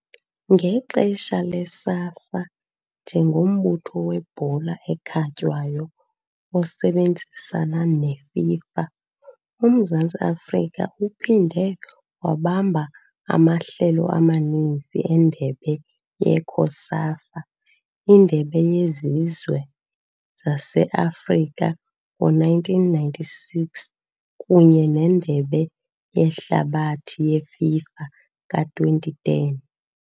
Ngexesha le-SAFA njengombutho webhola ekhatywayo osebenzisana ne-FIFA, uMzantsi Afrika uphinde wabamba amahlelo amaninzi eNdebe ye-COSAFA, iNdebe yeZizwe zase-Afrika ngo -1996 kunye neNdebe yeHlabathi yeFIFA ka-2010.